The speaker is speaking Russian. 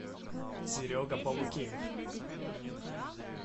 серега полукеев